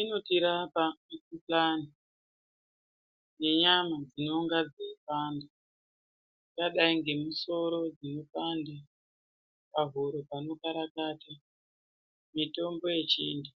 Inotirapa mundanj nenyama dzinonge dzeipanda yangadai nemisoro inopande..pahuro panokarakata mitombo yechiantu .